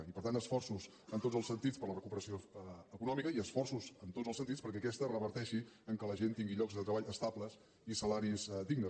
i per tant esforços en tots els sentits per a la recuperació econòmica i esforços en tots els sentits perquè aquesta reverteixi que la gent tingui llocs de treball estables i salaris dignes